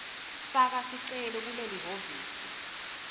faka sicelo kulelihhovisi